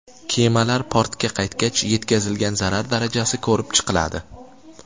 Kemalar portga qaytgach, yetkazilgan zarar darajasi ko‘rib chiqiladi.